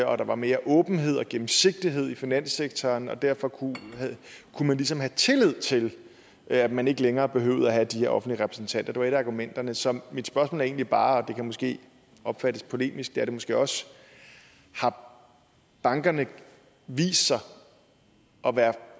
og der var mere åbenhed og gennemsigtighed i finanssektoren og derfor kunne man ligesom have tillid til at man ikke længere behøvede at have de her offentlige repræsentanter det var et af argumenterne så mit spørgsmål er egentlig bare og det kan måske opfattes polemisk og det er det måske også har bankerne vist sig